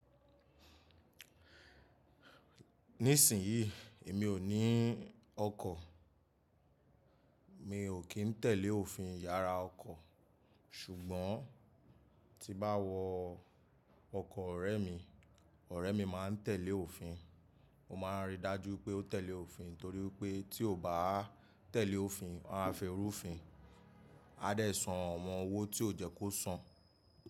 Nísìnyí, èmi ò ní ọkọ̀, mi ò kín tẹ̀lé òfin ìyara ọkọ̀. Ṣùgbọ́n tí bá wọ ọkọ̀ ọ̀rẹ́ mi, ọ̀rẹ́ mi máa ń tẹ̀lé òfin, ó máa ń ríi dájú pé ó tẹ̀lé òfin torí pé tí ò bá tẹ̀lé òfin, wọn a fi rúfin, a dẹ̀ san àwọn owó tí ò yẹ kó san.